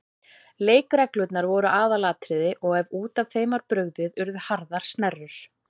Leikreglurnar voru aðalatriði og ef út af þeim var brugðið urðu harðar snerrur.